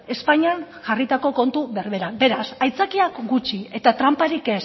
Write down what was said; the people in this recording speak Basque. espainian jarritako kontu berberak beraz aitzakiak gutxi eta tranparik